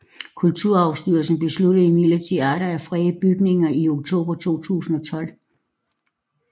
Kulturarvsstyrelsen besluttede imidlertid atter at frede bygningen i oktober 2012